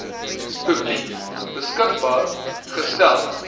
publiek beskikbaar gestel